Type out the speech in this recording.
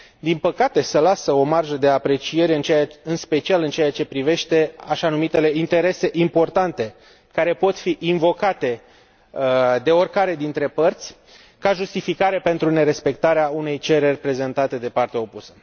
Din păcate, se lasă o marjă de apreciere, în special în ceea ce privește așa numitele interese importante care pot fi invocate de oricare dintre părți ca justificare pentru nerespectarea unei cereri prezentate de partea opusă.